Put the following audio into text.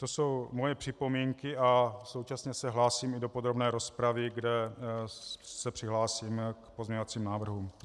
To jsou moje připomínky a současně se hlásím i do podrobné rozpravy, kde se přihlásím k pozměňovacím návrhům.